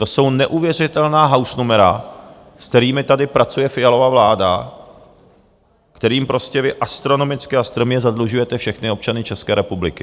To jsou neuvěřitelná hausnumera, s kterými tady pracuje Fialova vláda, kterými prostě vy astronomicky a strmě zadlužujete všechny občany České republiky!